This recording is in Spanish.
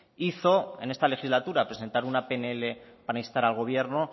hizo en esta legislatura presentar una pnl para instar al gobierno